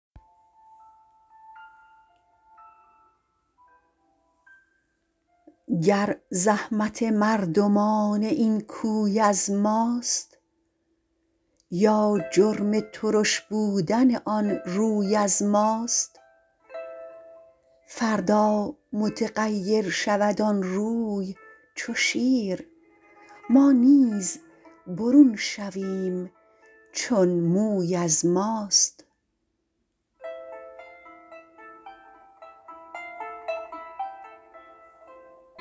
گر زحمت مردمان این کوی از ماست یا جرم ترش بودن آن روی از ماست فردا متغیر شود آن روی چو شیر ما نیز برون شویم چون موی از ماست